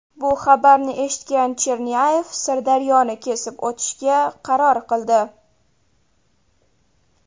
Bu xabarni eshitgan Chernyayev Sirdaryoni kesib o‘tishga qaror qildi.